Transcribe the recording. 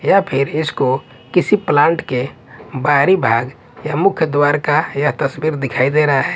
या फिर इसको किसी प्लांट के बाहरी भाग या मुख्य द्वार का यह तस्वीर दिखाई दे रहा है।